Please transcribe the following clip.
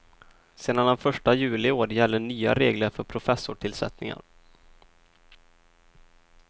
Sedan den första juli i år gäller nya regler för professorstillsättningar.